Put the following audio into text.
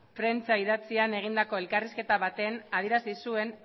prentsa idatzian egindako elkarrizketa baten adierazi zuen